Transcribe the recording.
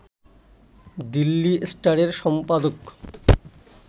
দিল্লি স্টারের সম্পাদক